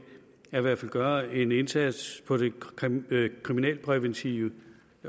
gøre en indsats på det kriminalpræventive